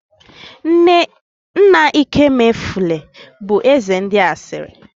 Nna ịkemefule bụ eze ndị asịrị